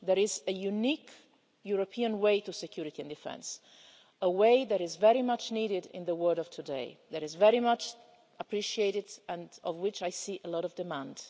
There is a unique European way to security and defence a way that is very much needed in the world of today, that is very much appreciated, and for which I see a lot of demand.